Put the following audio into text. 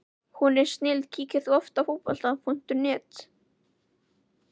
Hún er snilld Kíkir þú oft á Fótbolti.net?